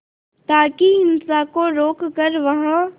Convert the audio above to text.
ताकि हिंसा को रोक कर वहां